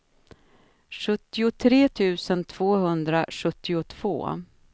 sjuttiotre tusen tvåhundrasjuttiotvå